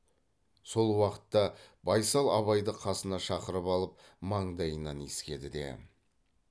сол уақытта байсал абайды қасына шақырып алып маңдайынан иіскеді де